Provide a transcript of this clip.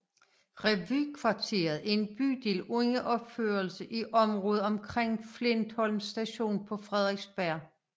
Revykvarteret er en bydel under opførelse i området omkring Flintholm Station på Frederiksberg